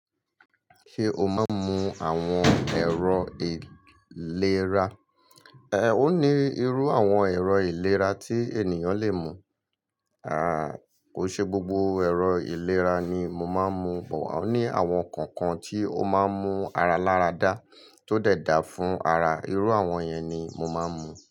Ṣé o máa ń mu àwọn ẹ̀rọ ìlera? Ẹ̀ẹ́, ó ní irú àwọn ẹ̀rọ ìlera tí ènìyàn le mú. Aà, kò ṣe gbogbo ẹ̀rọ ìlera ni mo máa ń mu, àwọn ní àwọn kankan tí ó máa ń mú ara láradá tó dẹ̀ dà fún ara, irú àwọn yẹn ni mo máa ń mú.